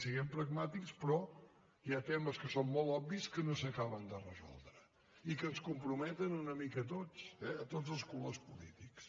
siguem pragmàtics però hi ha temes que són molt obvis que no s’acaben de resoldre i que ens comprometen una mica a tots eh a tots els colors polítics